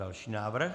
Další návrh.